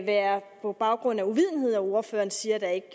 være på baggrund af uvidenhed at ordføreren siger at der ikke